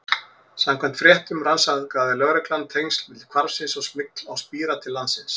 Samkvæmt fréttum rannsakaði lögreglan tengsl milli hvarfsins og smygls á spíra til landsins.